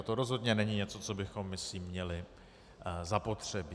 A to rozhodně není něco, co bychom myslím měli zapotřebí.